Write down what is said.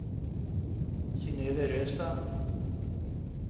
Synøve Røstad